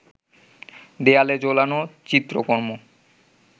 দেয়ালে ঝোলানো চিত্রকর্ম